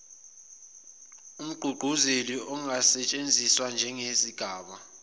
umgqugquzeli angasetshenziswa ngezigaba